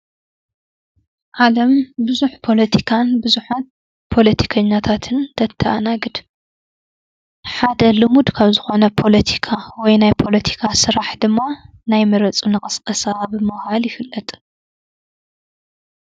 ዓለም ብዙሕ ፖሎቲካን ብዙሓት ፖሎቲከኛታትን ተተኣናግድ። ሓደ ልሙድ ካብ ዝኾነ ፖሎቲካ ወይ ናይ ፖሎቲካ ስራሕ ድማ ናይ ሙረፁኒ ቅስቀሳ ብምባል ይፍለጥ።